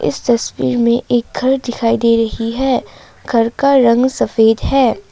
इस तस्वीर में एक घर दिखाई दे रही है घर का रंग सफेद है।